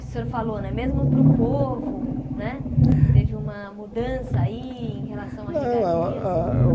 O que o senhor falou né, mesmo para o povo né, teve uma mudança aí em relação à regalias? Não não ah eu